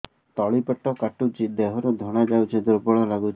ତଳି ପେଟ କାଟୁଚି ଦେହରୁ ଧଳା ଯାଉଛି ଦୁର୍ବଳ ଲାଗୁଛି